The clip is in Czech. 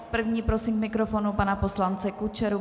S první prosím k mikrofonu pana poslance Kučeru.